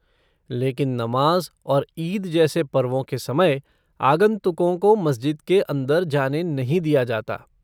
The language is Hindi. लेकिन नमाज़ और ईद जैसे पर्वों के समय, आगंतुकों को मस्जिद के अंदर जाने नहीं दिया जाता।